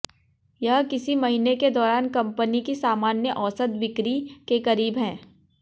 यह किसी महीने के दौरान कंपनी की सामान्य औसत बिक्री के करीब है